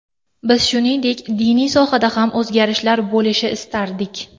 Biz, shuningdek, diniy sohada ham o‘zgarishlar bo‘lishi istardik”.